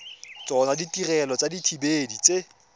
tsona ditirelo tsa dithibedi tse